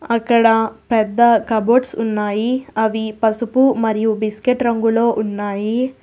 అక్కడ పెద్ద కబోర్డ్స్ ఉన్నాయి అవి పసుపు మరియు బిస్కెట్ రంగులో ఉన్నాయి.